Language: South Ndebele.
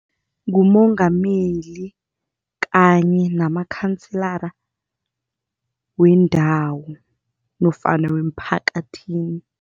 Ngumongameli kanye namakhansela wendawo nofana wemiphakathini.